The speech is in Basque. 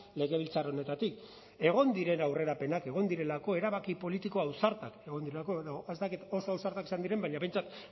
legebiltzar honetatik egon diren aurrerapenak egon direlako erabaki politiko ausartak egon direlako edo ez dakit oso ausartak izan diren baina behintzat